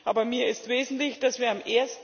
Aber für mich ist wesentlich, dass wir am